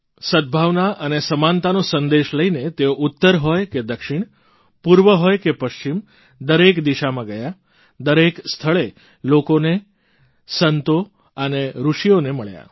સદભાવના અને સમાનતાનો સંદેશ લઇને તેઓ ઉત્તર હોય કે દક્ષિણ પૂર્વ હોય કે પશ્ચિમ દરેક દિશામાં ગયા દરેક સ્થળે લોકોને સંતો અને ઋષિઓને મળ્યા